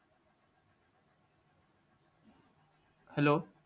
hello